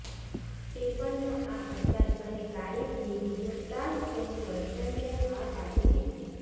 સ્ટીફનનો આ અંદાજ અને કારીગીરી જોતા જ તેની ગર્લફ્રેન્ડે હા પાડી દીધી